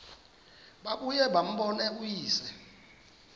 babuye bambone uyise